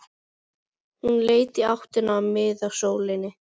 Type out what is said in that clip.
Hann leit í áttina að miðasölunni.